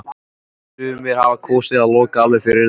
En sumir hafa kosið að loka alveg fyrir þetta.